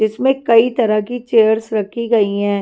इसमें कई तरह की चेयर्स रखी गई हैं।